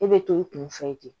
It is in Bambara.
E bɛ to i kun fɛ ten